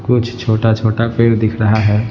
कुछ छोटा-छोटा पेड़ दिख रहा है।